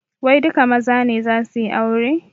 Wai duka maza ne zasu yi aure?